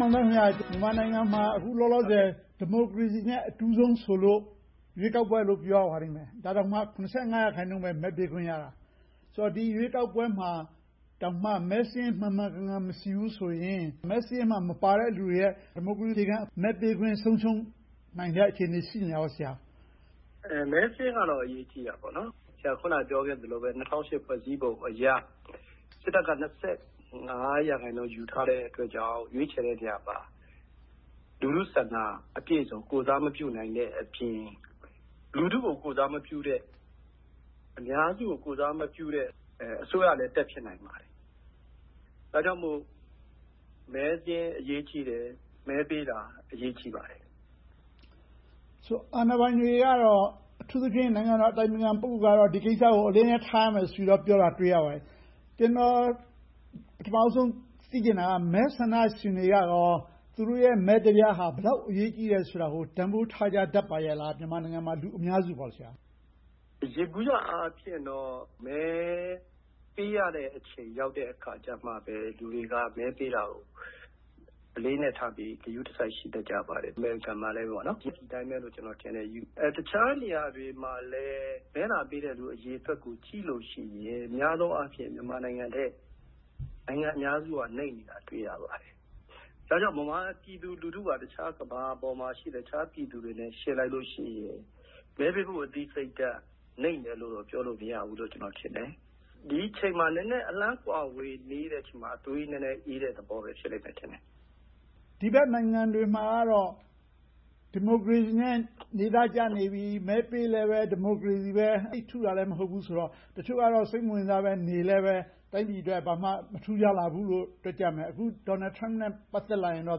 မောင်သန်း.. မြန်မာနိုင်ငံမှာ အခုလောလောဆယ် ဒီမိုကရေစီနဲ့ အတူဆုံးဆိုလို့ ရွေးကောက်ပွဲလို့ ပြောရပါလိမ့်မယ်။ ဒါတောင်မှ ရာခိုင်နှုန်းလောက်ပဲ မဲပေးခွင့်ရတာ။ ဆိုတော့ ဒီရွေးကောက်ပွဲမှာတောင်မှ မဲစာရင်းမှန်မှန်ကန်ကန် မရှိဘူးဆိုရင်၊ မဲစာရင်းမှာမှ မပါတဲ့လူတွေရဲ့ ဒီမိုကရေစီရဲ့ အခြေခံ မဲပေးခွင့် ဆုံးရှုံးနိုင်တဲ့ အခြေအနေ ရှိနေတာပေါ့။ မဲစာရင်းကတော့ အရေးကြီးတာပေါ့။ ဆရာ အခုနပြောခဲ့သလိုပဲ ၂၀၀၈ ဖွဲ့စည်းပုံအရ စစ်တပ်က ရာခိုင်နှုန်း ရယူထားတဲ့အတွက်ကြောင့် ရွေးချယ်တဲ့နေရာမှာ လူထုဆန္ဒအပြည့်အစုံ ကိုယ်စားမပြုနိုင်တဲံအပြင် လူထုကို ကိုယ်စားမပြုတဲ့၊ အများစုကို ကိုယ်စားမပြုတဲ့ အစိုးရလည်း တတ်ဖြစ်နိုင်ပါတယ်။ ဒါကြောင့်မို့ မဲစာရင်းအရေးကြီးတယ်။ မဲပေးတာ အရေးကြီးပါတယ်။ အာဏာပိုင်တွေကတော့ အထူးသဖြင့် နိုင်ငံတော်အတိုင်ပင်ခံ ပုဂ္ဂိုလ်ကတော့ ဒီကိစ္စကို အလေးအနက်ထားပြီးတော့ ပြောရမယ်လို့ ပြောတာကို တွေ့ရပါတယ်။ ကျနော် ပထမဦးဆုံး သိချင်တာက မဲဆန္ဒရှင်တွေကရော သူတို့ရဲ့ မဲတပြားက ဘယ်လောက်အရေးကြီးသလဲဆိုတာကို တန်းဖိုးထားတတ်ကြပါရဲ့လား။ မြန်မာနိုင်ငံမှာ လူအများစုက.. ယေဘုယျအားဖြင့်တော့ မဲပေးရတဲ့အချိန် ရောက်တဲ့အချိန်မှာပဲ လူတွေက မဲပေးတာကို အလေးအနက်ထားပြီး ဂရုတစိုက် ရှိတတ်ကြပါတယ်။ တခြားနေရာတွေမှာလဲ မဲလာပေးတဲ့ အရေအတွက်ကို ကြည့်လို့ရှိရင် များသောအားဖြင့် မြန်မာနိုင်ငံထက် နိုင်ငံအများစုက နိမ့်နေတာကို တွေ့ရပါတယ်။ ဒါကြောင့် ဗမာပြည်သူလူထုက အခြားကမ္ဘာပေါ်မှာရှိတဲ့ အခြားပြည်သူတွေနဲ့ ယှဉ်လိုက်လို့ရှိရင် မဲပေးဖို့ အသိစိတ်ဓါတ် နိမ့်တယ်လို့တော့ ပြောလို့မရဘူးလို့ ထင်တယ်။ ဒီအချိန်မှာ နည်းနည်းအလှမ်းကွာဝေးနေသေးလို့ သွေးနည်းနည်းအေးနေသေးတဲ့ သဘောပဲ ရှိလိမ့်မယ်ထင်တယ်။ ဒီဘက်နိုင်ငံတွေမှာကတော့ ဒီမိုကရေစီနဲ့ နေသားကြနေပြီ၊ မဲပေးလဲပဲ ဒီမိုကရေစီပဲ၊ သိပ်ထူးတာလဲ မဟုတ်ဘူးဆိုတော့ တချို့ကတော့ စိတ်မဝင်စားဘဲ နေလဲပဲ တိုင်းပြည်အတွက် ဘာမှမထူးခြားလာဘူးလို့ တွက်ကြမယ်။ အခု Donald Trump အတွက်နဲ့ ပတ်သက်လာရင်တော့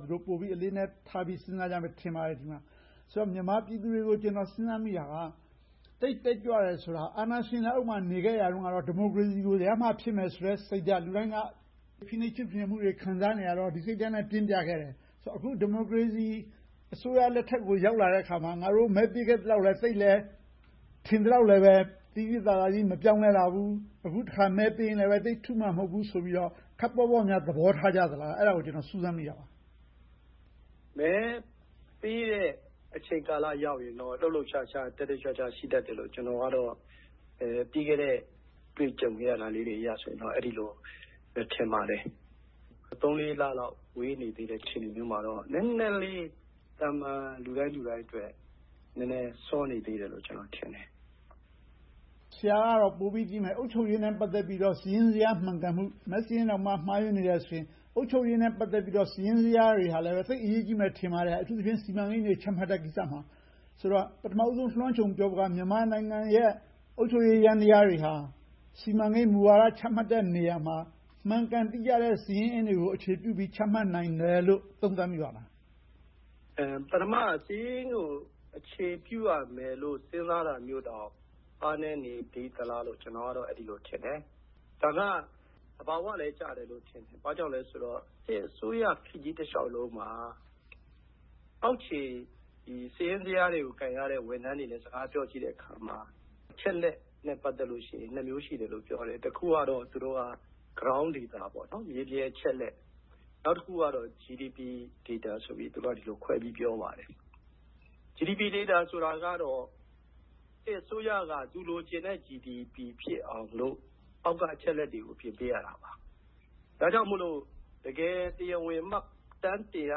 သူတို့ပိုပြီး အလေးအနက်ထားပြီး စဉ်းစားကြမယ် ထင်ပါတယ်။ ဆိုတော့ မြန်မာပြည်သူတွေကို ကျနော် စဉ်းစားမိတာက သိပ်တက်ကြွတယ်ဆိုတာ အာဏာရှင်လက်အောက်မှာ နေခဲ့ရတုန်းကတော့ ဒီမိုကရေစီကို ရမှဖြစ်မယ်ဆိုတဲ့ စိတ်ဓါတ်။ လူတိုင်းက ဖိနှိပ်ချုပ်ချယ်မှုတွေ ခံစားနေရတော့ ဒီစိတ်ဓါတ်ကို ပြင်းပြခဲ့တယ်။ အခု ဒီမိုကရေစီအစိုးရလက်ထက်ကို ရောက်လာတဲ့အခါမှာ ငါတို့ မဲပေးခဲ့သလောက်လဲ သိပ်လဲ၊ ထင်သလောက် သိသိသာသာကြီး ပြောင်းလဲမလာဘူး။ အခုတခါ မဲပေးတဲ့အခါမှာလဲ သိပ်ထူးမှာ မဟုတ်ဘူးဆိုပြီးတော့ ခပ်ပေါ့ပေါ့ပဲ သဘောထားကြသလား။ အဲဒါကို ကျနော် စူးစမ်းမိတာပါ။ မဲပေးတဲ့ အချိန်ကာလရောက်ရင်တော့ လှုပ်လှုပ်ရှားရှား တက်တက်ကြွကြွ ရှိတတ်တယ်လို့ ကျနော်ကတော့ ပြီးခဲ့တဲ့ အတွေ့အကြုံအရတော့ အဲဒီလိုပဲ ထင်ပါတယ်။ သုံးလေးလလောက် ဝေးနေသေးတဲ့ အခြေအနေမျိုးမှာတော့ နည်းနည်းလေး သာမန်လူတိုင်းလူတိုင်းအတွက် နည်းနည်းစောနေသေးတယ်လို့ ကျနော်ထင်တယ်။ ဆရာကတော့ ပိုပြီးသိမယ်။ အုပ်ချုပ်ရေးနဲ့ ပတ်သက်လို့ စာရင်းဇယားမှန်ကန်မှု။ မဲစာရင်းတောင်မှ မှားယွင်းနေတယ်ဆိုရင်တောင် အုပ်ချုပ်ရေးနဲ့ ပတ်သက်လို့ စာရင်းဇယားတွေကလည်း သိပ်အရေးကြီးမယ် ထင်ပါတယ်။ အထူးသဖြင့် စီမံကိန်းတွေ ချမှတ်တဲ့ကိစ္စမှာ။ ဆိုတော့ ပထမဦးဆုံး လွှမ်းခြုံပြောဖို့က မြန်မာနိုင်ငံရဲ့ အုပ်ချုပ်ရေးယန္တရားတွေဟာ စီမံကိန်းမူဝါဒတွေ ချမှတ်တဲ့နေရာမှာ မှန်ကန်တိကျတဲ့ စာရင်းအင်းတွေကို အခြေပြုပြီး ချမှတ်နိုင်တယ်လို့ သုံးသပ်မိပါသလား။ ပထမ စာရင်းကိုအခြေပြုရမယ်လို့ စဉ်းစားတာမျိုးတောင် အားနည်းနေသေးသလားလို့ ကျနော်ကတော့ အဲဒီလိုထင်တယ်။ ဒါက သဘာဝလည်းကျတယ်လို့ ထင်တယ်။ ဘာကြောင့်လဲဆိုတော့ စစ်အစိုးရခေတ်ကြီးတလျှောက်လုံးမှာ အောက်ခြေစာရင်းဇယားတွေကို ကိုင်ရတဲ့ ဝန်ထမ်းတွေနဲ့ စကားပြောကြည့်တဲ့အခါမှာ အချက်အလက်နဲ့ ပတ်သက်လို့ရှိရင် နှစ်မျိုးရှိတယ်လို့ ပြောတယ်။ တစ်ခုကတော့ Ground Data မြေပြင်အချက်အလက်။ နောက်တစ်ခုကတော့ GDP Data ဆိုပြီး သူတို့က ဒီလိုခွဲပြောပါတယ်။ GDP Data ကတော့ စစ်အစိုးရက သူလိုချင်တဲ့ GDP ဖြစ်အောင်လို့ အောက်ကအချက်အလက်တွေကို ပြင်ပေးရတာပါ။ ဒါကြောင့်မို့ တကယ်တရားဝင် မှတ်တမ်းတင်ရ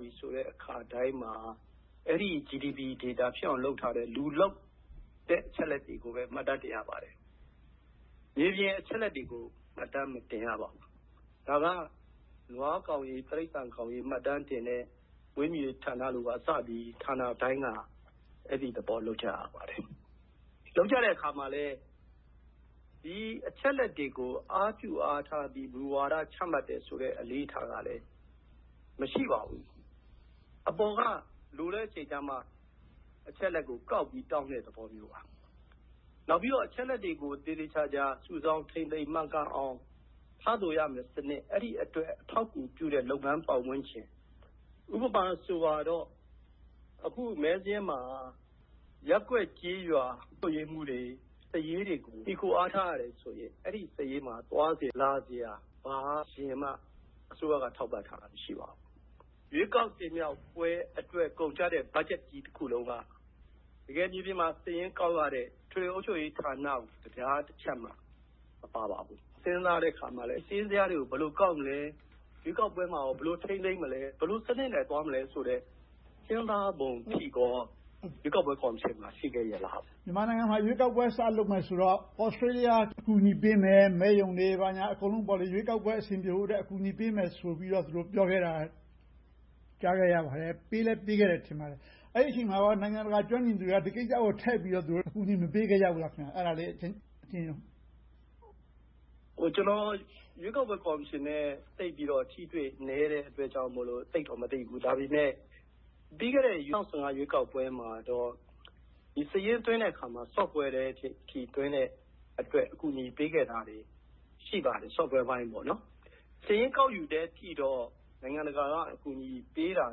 ပြီဆိုတဲ့အခါတိုင်းမှာ အဲဒီ GDP Data ဖြစ်အောင်လို့ လုပ်ထားတဲ့ လူလုပ်တဲ့ အချက်အလက်တွေကိုပဲ မှတ်တမ်းတင်ရပါတယ်။ မြေပြင်အချက်အလက်တွေကို မှတ်တမ်းမတင်ရပါဘူး။ ဒါကတော့ နွားကောင်ရေ၊ တိရစ္ဆာန်ကောင်ရေ မှတ်တမ်းတင်တဲ့ မွေးမြူးရေးဌာနတွေကစပြီး ဌာနတိုင်းက အဲဒီသဘော လုပ်ကြရပါတယ်။ လုပ်ကြတဲ့အခါမှာလဲ ဒီအချက်အလက်တွေကို အားပြုအားထားပြီး မူဝါဒတွေ ချမှတ်တယ်ဆိုတဲ့ အလေ့အထကလဲ မရှိပါဘူး။ အပေါ်က လိုတဲ့အချိန်မှ အချက်အလက်ကို ကောက်ပြီးတောင်းတဲ့သဘောမျိုးပါ။ နောက်ပြီးတော့ အချက်အလက်တွေကို သေသေချာချာ စုဆောင်းထိန်းသိမ်းမှန်ကန်အောင် ထားသိုးရမယ့်စနစ်၊ အဲဒီအတွက် အထောက်အကူပြုတဲ့ လုပ်ငန်းပတ်ဝန်းကျင်။ ဥပမာဆိုပါတော့ အခုမဲစာရင်းမှာ ရပ်ကွက်ကျေးရွာမှူးတွေ၊ စာရေးတွေကို မှီခိုအားထားရတယ်ဆိုရင် အဲဒီစာရေးမှာ သွားစရာလာစရာ ဘာစရိတ်မှ အစိုးရက ထောက်ပံ့ထားတာ မရှိပါဘူး။ ရွေးကောက်တင်မြှောက်ပွဲအတွက် ကုန်ကျတဲ့ ဘတ်ဂျက်ကြီးတခုလုံးက တကယ်မြေပြင်မှာ စာရင်းကောက်ရတဲ့ အထွေထွေအုပ်ချုပ်ရေးမှူးဌာနကို တပြားတချပ်မှပေးဖို့ မပါပါဘူး။ စဉ်းစားတဲ့အခါမှာလဲ စာရင်းဇယားတွေကို ဘယ်လိုကောက်ယူမလဲ။ ရွေးကောက်ပွဲမှာကော ဘယ်လိုထိန်းသိမ်းမလဲ။ ဘယ်လိုစနစ်နဲ့ သွားမလဲဆိုတဲ့ စဉ်းစားပုံအထိကော ရွေးကောက်ပွဲကော်မရှင်မှာ ရှိခဲ့ရဲ့လား။ မြန်မာနိုင်ငံဟာ ရွေးကောက်ပွဲ စလုပ်မယ်ဆိုတော့ Australia အကူအညီပေးမယ်။ မဲရုံတွေ ဘာတွေ ရွေးကောက်ပွဲအဆင်ပြေဖို့ဆိုပြီး ကူညီပေးမယ်ဆိုပြီးတော့ ပြောခဲ့တာ ကြားသိခဲ့ရပါတယ်။ ပေးလဲပေးခဲ့တယ် ထင်ပါတယ်။ အဲဒီအချိန်မှာ နိုင်ငံတကာကျွမ်းကျင်သူတွေက ဒီကိစ္စကို ထည့်ပြီးတော့ အကူအညီမပေးခဲ့ဘူးလား။ အဲဒါကိုလဲ အကျဉ်းရုံပြောပေးပါ။ ကျနော် ရွေးကောက်ပွဲကော်မရှင်နဲ့ သိပ်ပြီးတော့ အထိအတွေ့နည်းတဲ့အတွက်ကြောင့် သိပ်ပြီးတော့ မသိဘူး။ ဒါပေမဲ့ ပြီးခဲ့တဲ့ ၂၀၁၅ ရွေးကောက်ပွဲမှာတော့ ဒီစာရင်းသွင်းတဲ့အခါမှာ ကွန်ပြူတာ Software အထိ သွင်းတဲ့အတွက်အထိ အကူအညီပေးခဲ့တာတွေ ရှိပါတယ်။ Software အပိုင်းပေါ့။ စာရင်းကောက်ယူတဲ့အထိတော့ နိုင်ငံတကာက အကူအညီပေးတာ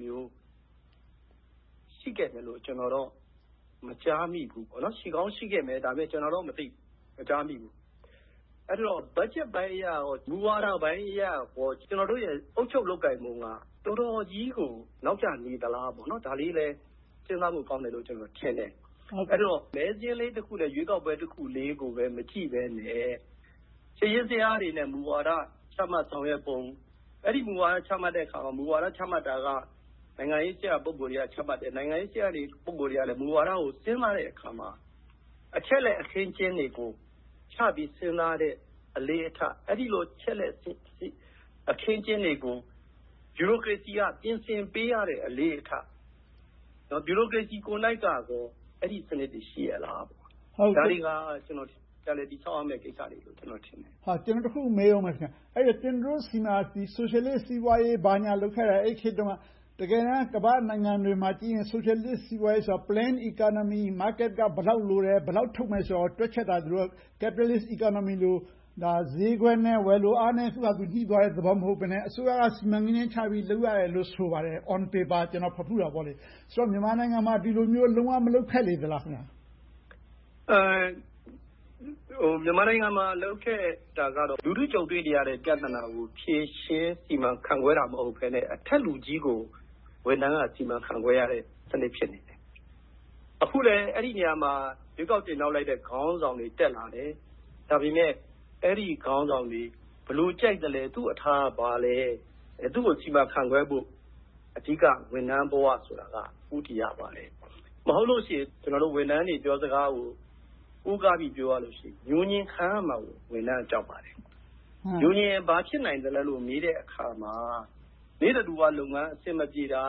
မျိုး၊ ရှိခဲ့တယ်လို့ ကျနော်ကတော့ မကြားမိဘူး။ ရှိကောင်းရှိခဲ့မယ်။ ဒါပေမဲ့ ကျနော်တော့ မသိဘူး၊ မကြားမိဘူး။ အဲဒီတော့ ဘတ်ဂျက်ပိုင်းအရ၊ မူဝါဒပိုင်းအရ ကျနော်တို့ရဲ့ အုပ်ချုပ်လုပ်ကိုင်ပုံက တော်တော်ကြီးကို နောက်ကျနေသလားလို့ ဒါလေးပဲ စဉ်းစားဖို့ ကောင်းမယ်လို့ ကျနော်ထင်တယ်။ အဲဒီတော့ မဲစာရင်းလေးတစ်ခုနဲ့ ရွေးကောက်ပွဲတစ်ခုကိုပဲ မကြည့်ဘဲနဲ့ စာရင်းဇယားတွေနဲ့ မူဝါဒ ချမှတ်ဆောင်ရွက်ပုံ။ အဲဒီမူဝါဒ ချမှတ်တဲ့အခါမှာ မူဝါဒ ချမှတ်တာက နိုင်ငံရေးရာ ပုဂ္ဂိုလ်တွေက ချမှတ်တယ်။ နိုင်ငံရေးရာ ပုဂ္ဂိုလ်တွေကလဲ မူဝါဒကို စဉ်းစားတဲ့အခါမှာ အချက်အလက် အခင်းအကျင်းတွေကိုချပြီး စဉ်းစားတဲ့ အလေ့အထ။ အဲဒီလို အချက်အလက် အခင်းအကျင်းတွေကို ဗျူရိုကရေစီက ပြင်ဆင်ပေးရတဲ့ အလေ့အထ။ နောက် ဗျူရိုကရေစီကိုယ်တိုင်ကကော အဲဒီစနစ်တွေ ရှိရဲ့လား။ ဒါတွေက ပြန်လည်တည်ဆောက်ရမယ့် ကိစ္စတွေလို့ ကျနော်ထင်တယ်။ ကျနော် တစ်ခုထပ်မေးအုံးမယ်။ ကျနော်တို့ဆီမှာ ဆိုရှယ်လစ်စီးပွားရေး ဘာညာလုပ်ခဲ့တယ်။ အဲဒီခေတ်တုန်းက တကယ်တမ်း ကမ္ဘာ့နိုင်ငံတွေမှာကြည့်ရင် ဆိုရှယ်လစ်စီးပွားရေးဆိုတာ Plan Economy Market က ဘယ်လောက်လိုတယ်၊ ဘယ်လောက်ထုတ်မယ်ဆိုတာကို တွက်ချက်ခဲ့တာဆိုတော့ Capitalist Economy လို ဈေးကွက်နဲ့ ဝယ်လိုအားနဲ့ သူ့ဘာသာ ညှိသွားတဲ့သဘော မဟုတ်ဘဲနဲ့ အစိုးရက စီမံကိန်းတွေချပြီး လုပ်ရတယ်ဆိုပါတယ်။ On paper ကျနော် ဖတ်ဖူးတာပေါ့။ ဆိုတော့ မြန်မာနိုင်ငံမှာ ဒီလိုမျိုး လုံးဝမလုပ်ခဲ့လေသလား။ မြန်မာနိုင်ငံမှာ လုပ်ခဲ့တာကတော့ လူထုကြုံတွေ့နေရတဲ့ ပြဿနာတွေကို ဖြေရှင်းစီမံခန့်ခွဲနေတာ မဟုတ်ဘဲနဲ့ အထက်လူကြီးကို ဝန်ထမ်းက စီမံခန့်ခွဲရတဲ့ စနစ် ဖြစ်နေတယ်။ အခုလဲ အဲဒီနေရာမှာ ရွေးကောက်တင်မြှောက်လိုက်တဲ့ ခေါင်းဆောင်တွေ တက်လာတယ်။ ဒါပေမဲ့ အဲဒီခေါင်းဆောင်တွေ ဘယ်လိုကြိုက်သလဲ။ သူ့အထာကဘာလဲ။ သူကိုစီမံခန့်ခွဲဖို့ အဓိကဝန်ထမ်းဘဝဆိုတာက ဦးတည်ရပါတယ်။ မဟုတ်လို့ရှိရင် ဝန်ထမ်းတွေပြောစကားကို ကိုးကားပြီး ပြောရမယ်ဆိုရင် ငြိုငြင်ခံရမှာကို ဝန်ထမ်းတွေက ကြောက်ပါတယ်။ ငြိုငြင်ရင် ဘာဖြစ်နိုင်သလဲလို့ မေးတဲ့အခါမှာ နေ့တဓုဝလုပ်ငန်း အဆင်မပြေတာ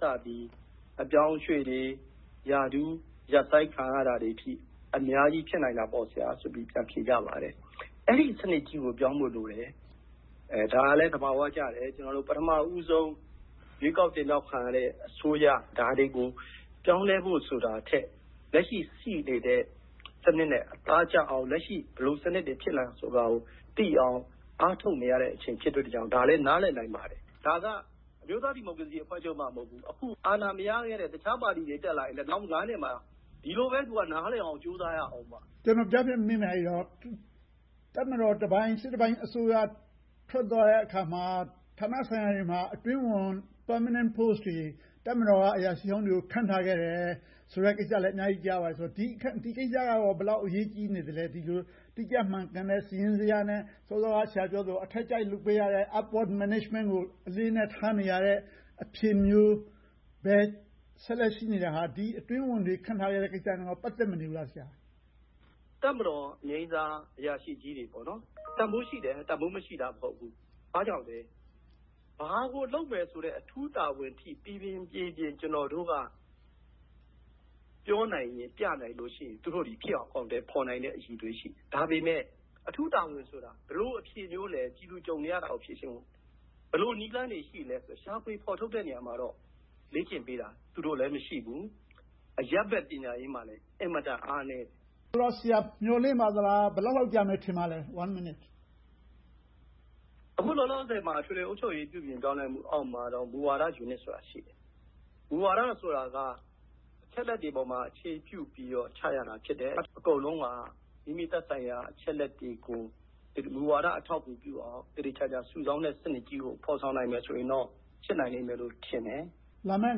ကစပြီး၊ အပြောင်းအရွှေ့တွေ၊ ရာထူးရပ်ဆိုင်းခံရတာတွေအထိ အများကြီးဖြစ်နိုင်ပါတယ်ဆိုပြီး ပြန်ဖြေကြပါတယ်။ အဲဒီစနစ်ကြီးကို ပြောင်းဖို့လိုတယ်။ ဒါကလဲ သဘာဝကျတယ်။ ပထမဦးဆုံး ရွေးကောက်တင်မြှောက်ခံရတဲ့ အစိုးရက ဒါတွေကို ပြောင်းလဲဖို့ဆိုတာထက် လက်ရှိရှိနေတဲ့ စနစ်နဲ့ အသားကျအောင်၊ လက်ရှိ ဘယ်လိုစနစ်တွေ ဖြစ်တယ်ဆိုတာကိုသိအောင် အားထုတ်နေရတဲ့ အချိန်ဖြစ်တဲ့အတွက် ဒါကို နားလည်နိုင်ပါတယ်။ ဒါက အမျိုးသားဒီမိုကရေစီအဖွဲ့ချုပ်မှ မဟုတ်ဘူး။ အခု အာဏာမရသေးတဲ့ တခြားပါတီတွေ တက်လာရင်လဲ နောက် နှစ်မှာ ဒီလိုပဲ နားလည်အောင် ကြိုးစားရအုံးမယ်။ ကျနော် ကြားဖြတ်မေးမယ်။ အဲဒီတော့ တပ်မတော်တပိုင်း၊ စစ်တပိုင်းအစိုးရ ထွက်သွားတဲ့အခါမှာ ဌာနဆိုင်ရာတွေမှာ အတွင်းဝန် Permanent Post တွေ တပ်မတော်က အရာရှိဟောင်းတွေကို ခန့်ထားခဲ့တယ်ဆိုတဲ့ ကိစ္စလည်း အများကြီးကြားရပါတယ်။ ဒီကိစ္စက ဘယ်လောက်အရေးကြီးနေသလဲ။ ဒီလိုတိကျမှန်ကန်တဲ့ စာရင်းဇယားနဲ့ စောစောက ဆရာပြောသလို အထက်အကြိုက် လုပ်ပေးရတယ်။ Upward Management ကို အလေးအနက် ထားနေရတဲ့ အဖြစ်မျိုးပဲ ဆက်လက်ရှိနေတာဟာ ဒီအတွင်းဝန်တွေ ခန့်ထားရတဲ့ ကိစ္စတွေနဲ့ ပတ်သက်မနေဘူးလား။ တပ်မတော်အငြိမ်းစားအရာရှိကြီးတွေ တန်းဖိုးရှိတယ်။ တန်းဖိုးမရှိဘူးဆိုတာ မဟုတ်ဘူး။ ဘာကြောင့်လဲ ဘာကိုလုပ်မယ်ဆိုတဲ့ အထူးတာဝန်အထိ ပီပီပြင်ပြင် ကျနော်တို့က ပြောနိုင်ပြနိုင်တယ်ဆိုရင် သူတို့သည်ဖြစ်အောင် အကောင်အထည်ဖော်နိုင်သည့် အရည်အသွေး ရှိတယ်။ ဒါပေမဲ့ အထူးတာဝန်ဆိုတာ ဘယ်လိုအဖြေမျိုးလဲ။ ပြည်သူကြုံနေရတာကို ဖြေရှင်းဖို့ ဘယ်လိုနည်းလမ်းတွေ ရှိသလဲဆိုတာကို ရှာဖွေဖော်ထုတ်တဲ့ နေရာမှာတော့ လေ့ကျင့်ပေးတာ သူတို့မှာလည်း မရှိဘူူး။ အရပ်ဘက်ပညာရေးမှာလည်း အင်မတန်အားနည်းတယ်။ ဆိုတော့ မျှော်လင့်ပါသလား။ ဘယ်လောက်လောက်ကြာမယ် ထင်ပါသလဲ။ အခုလောလောဆယ်မှာ အထွေထွေအုပ်ချုပ်ရေး ပြုပြင်ပြောင်းလဲရေးအောက်မှာ မူဝါဒယူနစ်ဆိုတာ ရှိတယ်။ မူဝါဒဆိုတာက အချက်အလက်တွေပေါ်မှာ အခြေပြုပြီးတော့ ချရတာ ဖြစ်တယ်။ အကုန်လုံးက မိမိသက်ဆိုင်ရာ အချက်အလက်တွေကို မူဝါဒအထောက်အကူပြုအောင် သေသေချာချာ စုဆောင်းတဲ့စနစ်ကြီးကို ဖော်ဆောင်နိုင်မယ်ဆိုရင်တော့ ဖြစ်နိုင်လိမ့်မယ်လို့ ထင်တယ်။ လာမယ့်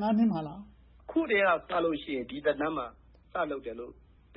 နှစ်မှာလား။ အခုကတည်းက စလုပ်လို့ရှိရင် ဒီသက်တမ်းမှာ စလုပ်တယ်လို့ အဓိပ